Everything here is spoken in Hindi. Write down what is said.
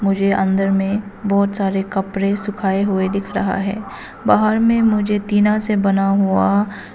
मुझे अंदर में बहुत सारे कपड़े सुखाए हुए दिख रहा है बाहर में मुझे तीन से बना हुआ--